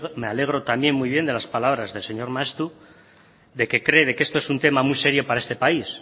me alegro también muy bien de las palabras del señor maeztu de que cree que esto es un tema muy serio para este país